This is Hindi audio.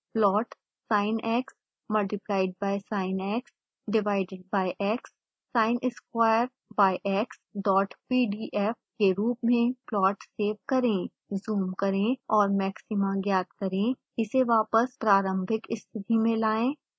plot sinx multiplied by sinx divided by x